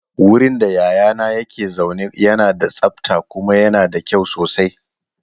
Wurin da yayana yake zaune yana da tsabta kuma yana da kyau sosai.